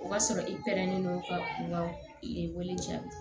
O b'a sɔrɔ i pɛrɛnnen don ka i wele cɛ